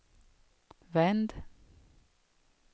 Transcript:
vänd